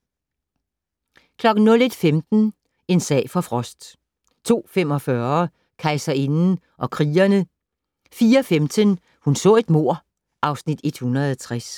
01:15: En sag for Frost 02:45: Kejserinden og krigerne 04:15: Hun så et mord (Afs. 160)